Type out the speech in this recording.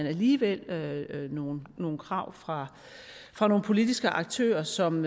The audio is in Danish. alligevel nogle nogle krav fra fra nogle politiske aktører som